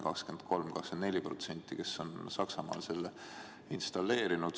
23–24% inimesi on Saksamaal selle installeerinud.